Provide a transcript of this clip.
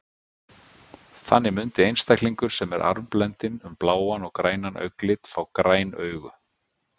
Þannig mundi einstaklingur sem er arfblendinn um bláan og grænan augnlit fá græn augu.